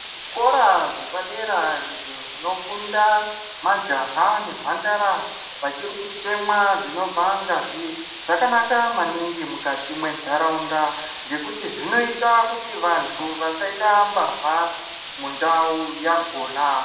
Zvikora zvepadera izvo zvinofunda majaha nemhandara vachiri kutemwa dzinobva ngazi zvakanaka maningi mukati mwentharaunda ngekuti zvinoita kuti vantu vasaite mbavha mundau yakona.